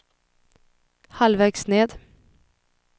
halvvägs ned